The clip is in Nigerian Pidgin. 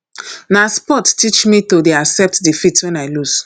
na sports teach me to dey accept defeat wen i loose